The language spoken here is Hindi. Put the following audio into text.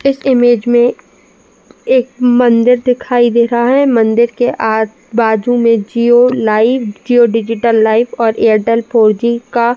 इस इमेज में एक मंदिर दिखाई दे रहा है। मंदिर के आजू-बाजू में Jio life Jio digital life और एयरटेल फोरजी का --